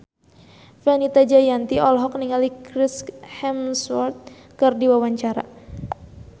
Fenita Jayanti olohok ningali Chris Hemsworth keur diwawancara